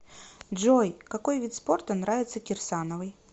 джой какой вид спорта нравится кирсановой